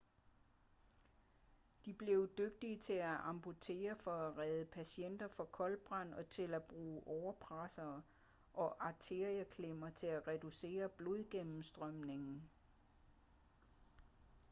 de blev dygtige til at amputere for at redde patienter fra koldbrand og til at bruge årepressere og arterieklemmer til at reducere blodgennemstrømningen